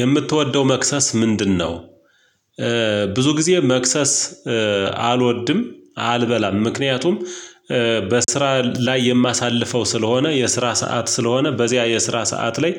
የምትወደው መክሰስ ምንድነው? ብዙ ጊዜ መክሰስ አልወድም፤ አልበላም ምክንያቱም፤ በስራ ላይ የማሳልፈው ስለሆነ፣ የስራ ሰዓት ስለሆነ በዚያ የስራ ሰዓት ላይ